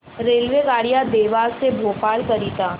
रेल्वेगाड्या देवास ते भोपाळ करीता